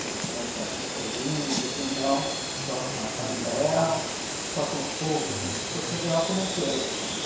Se você vai entrar com seus índios ou não, só com a família real, só com o povo vindo de Portugal, como é que é a história?